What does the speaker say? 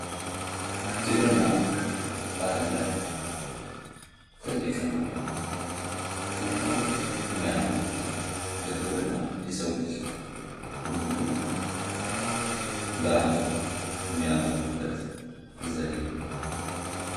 ግብርና በአለም ላይ ትልቅ እና ጥንታዊ ሙያ ነው ። በግብርና የሰው ልጅ ምግቡን በራሱ ሚያመርትበት ዘዴ ነው ።